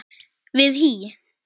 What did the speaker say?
við HÍ.